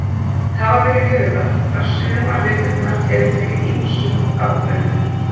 Hafa ber í huga að sumar villurnar eru til í ýmsum afbrigðum.